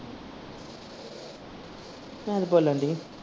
ਬੋਲਣ ਡੀ।